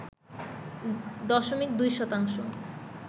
দশমিক ২ শতাংশ